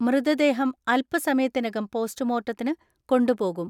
മൃതദേഹം അല്പസമയത്തിനകം പോസ്റ്റുമോർട്ടത്തിന് കൊണ്ടുപോകും.